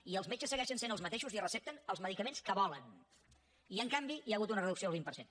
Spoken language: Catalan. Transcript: i els metges segueixen sent els mateixos i recepten els medicaments que volen i en canvi hi ha hagut una reducció del vint per cent